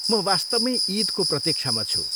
म वास्तवमै इदको प्रतिक्षामा छु ।